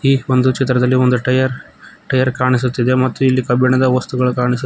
ಈ ಒಂದು ಚಿತ್ರದಲ್ಲಿ ಒಂದು ಟಯರ್ ಟಯರ್ ಕಾಣಿಸುತಿದೆ ಮತ್ತು ಇಲ್ಲಿ ಕಬ್ಬಿಣದ ವಸ್ತುಗಳು ಕಾಣಿ --